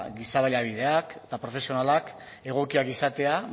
giza baliabideak eta profesionalak egokiak izatea